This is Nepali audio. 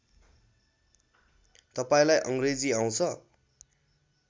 तपाईँलाई अङ्ग्रेजी आउँछ